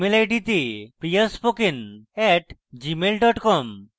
email id যে priyaspoken @gmail com